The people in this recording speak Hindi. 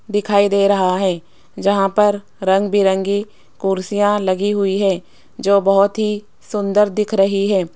दिखाई दे रहा है जहां पर रंग बिरंगी कुर्सियां लगी हुई है जो बहुत ही सुंदर दिख रही है।